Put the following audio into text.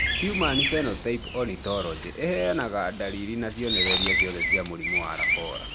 Human Phenotype Ontology ĩheanaga ndariri na cionereria ciothe cia mũrimũ wa Lafora